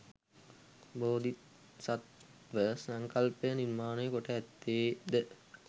බෝධිසත්ව සංකල්පය නිර්මාණය කොට ඇත්තේ ද